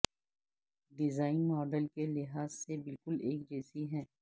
design model کے لحاظ سے بالکل ایک جیسی ہیں